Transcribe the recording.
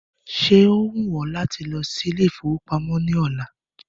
Ṣé ó wù ọ láti lọ sí Ilé-ìfowópamó ní ọ̀la?